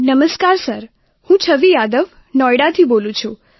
નમસ્કાર સર હું છવિ યાદવ નોએડાથી બોલું છું